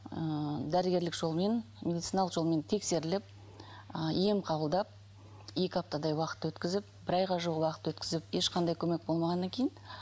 ыыы дәрігерлік жолмен медициналық жолмен тексеріліп ы ем қабылдап екі аптадай уақыт өткізіп бір айға жуық уақыт өткізіп ешқандай көмек болмағаннан кейін